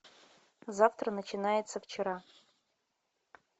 завтра начинается вчера